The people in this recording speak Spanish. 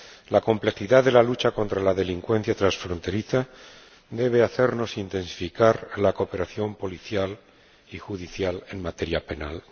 La complejidad de la lucha contra la delincuencia transfronteriza debe hacernos intensificar la cooperación policial y judicial en materia penal.